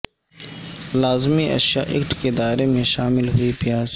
لازمی اشیاء ایکٹ کے دائرے میں شامل ہوئی پیاز